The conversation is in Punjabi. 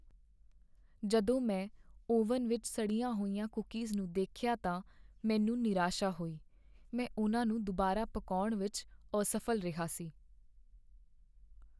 ਜਦੋਂ ਮੈਂ ਓਵਨ ਵਿੱਚ ਸੜੀਆਂ ਹੋਈਆਂ ਕੂਕੀਜ਼ ਨੂੰ ਦੇਖਿਆ ਤਾਂ ਮੈਨੂੰ ਨਿਰਾਸ਼ਾ ਹੋਈ । ਮੈਂ ਉਨ੍ਹਾਂ ਨੂੰ ਦੁਬਾਰਾ ਪਕਾਉਣ ਵਿੱਚ ਅਸਫ਼ਲ ਰਿਹਾ ਸੀ।